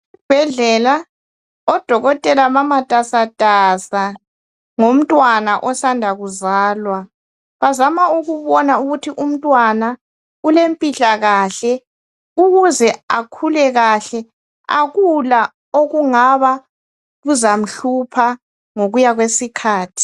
Esibhedlela odokotela bamatasatasa ngomntwana osanda kuzalwa. Bazama ukubona ukuthi umntwana ulempilakahle, ukuze akhulekahle. Akula okungaba kuzamhlupha ngokuyakwesikhathi.